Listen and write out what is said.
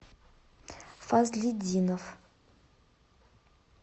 фазлидинов